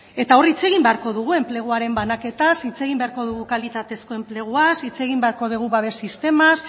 eta hor hitz egin beharko dugu enpleguaren banaketaz hitz egin beharko dugu kalitatezko enpleguaz hitz egin beharko dugu babes sistemaz